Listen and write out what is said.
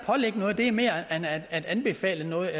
pålægge noget er mere end at at anbefale noget